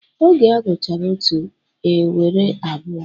Oge a gụchara otu, e nwere abụọ.